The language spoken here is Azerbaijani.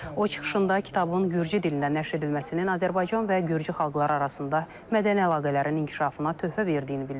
O çıxışında kitabın gürcü dilində nəşr edilməsinin Azərbaycan və gürcü xalqları arasında mədəni əlaqələrin inkişafına töhfə verdiyini bildirib.